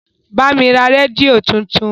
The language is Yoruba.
Bá mi ra rédíò tuntun!